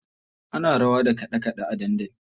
Ana rawa da kaɗe kaɗe a dandali.